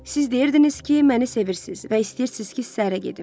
Siz deyirdiniz ki, məni sevirsiz və istəyirsiz ki, səhrə gedim.